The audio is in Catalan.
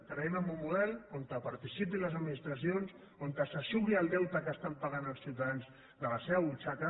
creiem en un model on participin les administracions on s’eixugui el deute que estan pagant els ciutadans de la seva butxaca